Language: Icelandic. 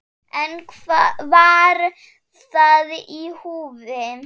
En var það í húfi?